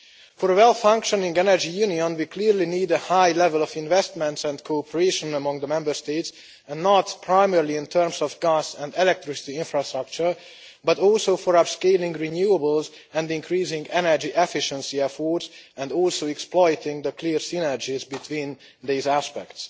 For a well-functioning energy union, we clearly need a high level of investment and cooperation among the Member States and not primarily, in terms of gas and electricity, for infrastructure, but also for upscaling renewables and increasing energy efficiency efforts and exploiting the clear synergies between these aspects.